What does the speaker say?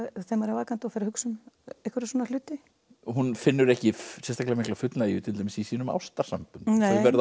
maður er vakandi og fer að hugsa um einhverja svona hluti og hún finnur ekki sérstaklega mikla fullnægju til dæmis í sínum ástarsamböndum þau